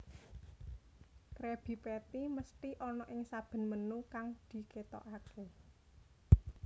Krabby Patty mesthi ana ing saben menu kang diketokake